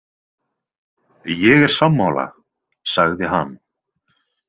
Ég er sammála, sagði hann.